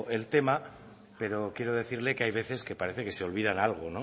el tema pero quiero decirle que hay veces parece que se olvidan algo